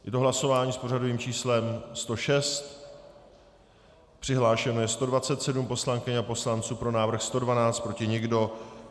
Je to hlasování s pořadovým číslem 106, přihlášeno je 127 poslankyň a poslanců, pro návrh 112, proti nikdo.